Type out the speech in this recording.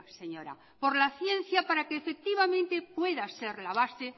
señora por la ciencia para que efectivamente pueda ser la base